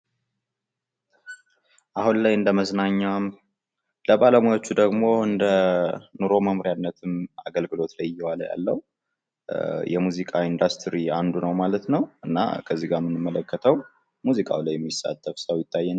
አሁን ላይ እንደመዝናኛም ለባለሙያዎቹ ደግሞ ለኑሮ መምሪያነት አገልግሎት ላይ እየዋለ ያለው የሙዚቃ ኢንዱስትሪ አንዱ ነው ማለት ነው። እና ከዚህ ላይ የምንመለከተው ሙዚቃው ላይ የሚሳተፍ ሰው ነው።